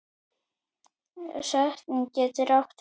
Setning getur átt við